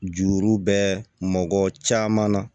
Juru bɛ mɔgɔ caman na